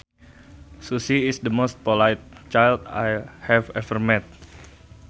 Susie is the most polite child I have ever met